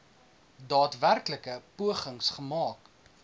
daadwerklike pogings gemaak